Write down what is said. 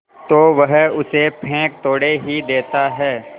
तो वह उसे फेंक थोड़े ही देता है